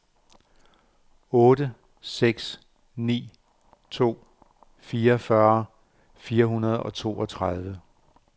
otte seks ni to fireogfyrre fire hundrede og toogtredive